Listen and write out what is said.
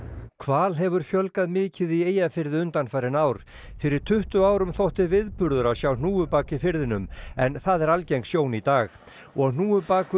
hval hefur fjölgað mikið í Eyjafirði undanfarin ár fyrir tuttugu árum þótti viðburður að sjá hnúfubak í firðinum en það er algeng sjón í dag og hnúfubakur